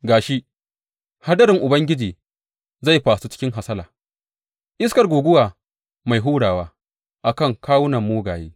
Ga shi, hadarin Ubangiji zai fasu cikin hasala, iskar guguwa mai hurawa a kan kawunan mugaye.